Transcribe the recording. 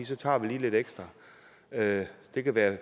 så tager vi lige lidt ekstra det det kan være